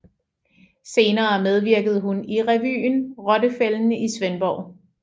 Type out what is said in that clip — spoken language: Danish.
Senere medvirkede hun i revyen Rottefælden i Svendborg